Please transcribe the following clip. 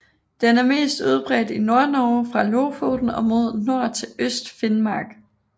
Den er mest udbredt i Nordnorge fra Lofoten og mod nord til Østfinnmark